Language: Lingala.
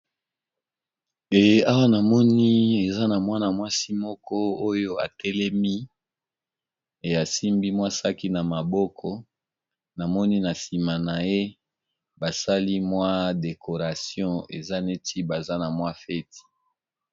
Eye awa na moni eza na mwana mwasi moko oyo atelemi, eyasimbi mwasaki na maboko na moni na nsima na ye basali mwa decoration eza neti baza na mwa feti.